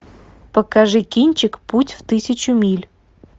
покажи кинчик путь в тысячу миль